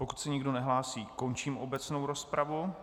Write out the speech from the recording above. Pokud se nikdo nehlásí, končím obecnou rozpravu.